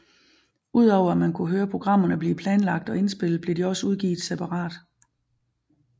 Ud over at man kunne høre programmerne blive planlagt og indspillet blev de også udgivet separat